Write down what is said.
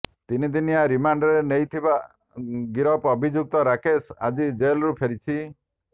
ତିନି ଦିନିଆ ରମାଣ୍ଡରେ ନେଇଥିବା ଗିରଫ ଅଭିଯୁକ୍ତ ରାକେଶ ଆଜି ଜେଲ୍କୁ ଫେରିଛି